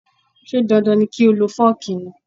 Ṣé dandan ni kí o lo fooki ni?